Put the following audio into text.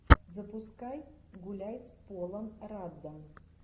запускай гуляй с полом раддом